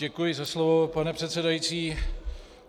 Děkuji za slovo, pane předsedající.